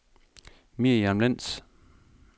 Miriam Lentz